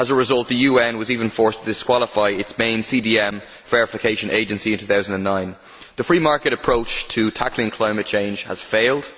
As a result, the UN was even forced to disqualify its main CDM verification agency in 2009. The free market approach to tackling climate change has failed.